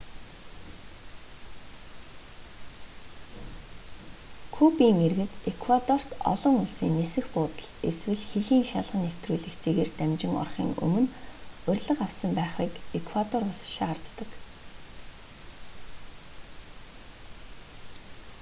кубын иргэд эквадорт олон улсын нисэх буудал эсвэл хилийн шалган нэвтрүүлэх цэгээр дамжин орохын өмнө урилга авсан байхыг эквадор улс шаарддаг